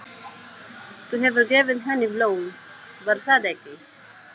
Þú hefur gefið henni blóm, var það ekki?